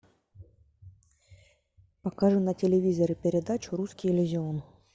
покажи на телевизоре передачу русский иллюзион